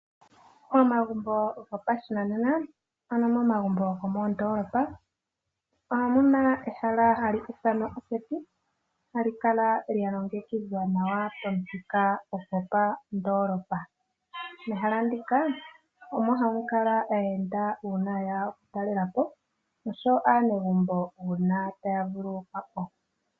Momagumbo gopashinanena ano momagumbo gomoondolopa omuna ehala ha li ithanwa oseti ha li kala lyalongekidhwa nawa pamuthika gopandolopa, mehala ndika omo hamu kala aayenda una yeya oku talela po nosho wo aanegumbo una taya vululukwa po.